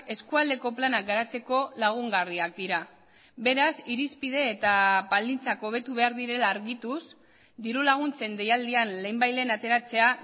eskualdeko planak garatzeko lagungarriak dira beraz irizpide eta baldintzak hobetu behar direla argituz dirulaguntzen deialdian lehenbailehen ateratzea